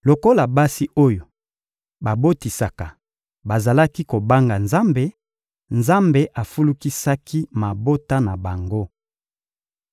Lokola basi oyo babotisaka bazalaki kobanga Nzambe, Nzambe afulukisaki mabota na bango.